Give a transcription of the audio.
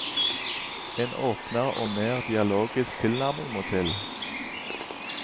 En åpnere og mer dialogisk tilnærming må til.